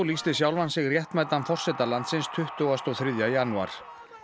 lýsti sjálfan sig réttmætan forseta landsins tuttugasta og þriðja janúar